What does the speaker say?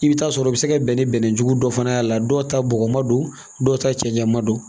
I bɛ taa sɔrɔ o bɛ se ka bɛn ni bɛnɛ jugu dɔ fana ye a la dɔw ta bɔgɔ ma don dɔw ta cɛncɛn ma don